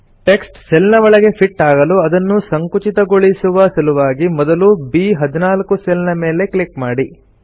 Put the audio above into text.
text cell ನ ಒಳಗೆ fit ಆಗಲು ಅದನ್ನು ಸಂಕುಚಿತಗೊಳಿಸುವ ಶ್ರಿಂಕ್ ಸಲುವಾಗಿ ಮೊದಲು ಬ್14 ಸೆಲ್ ಮೇಲೆ ಕ್ಲಿಕ್ ಮಾಡಿ